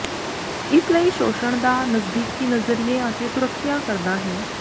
ਇਸ ਲਈ ਸ਼ੋਸ਼ਣ ਦਾ ਨਜ਼ਦੀਕੀ ਨਜ਼ਰੀਏ ਅਤੇ ਸੁਰੱਖਿਆ ਕਰਦਾ ਹੈ